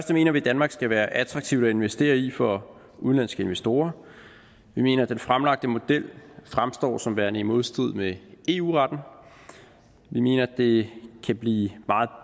mener vi danmark skal være attraktivt at investere i for udenlandske investorer vi mener den fremlagte model fremstår som værende i modstrid med eu retten vi mener det kan blive meget